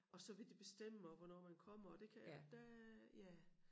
Og så vil de bestemme også hvornår man kommer og det kan jeg der ja